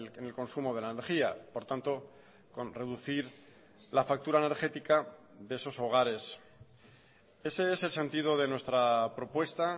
en el consumo de la energía por tanto con reducir la factura energética de esos hogares ese es el sentido de nuestra propuesta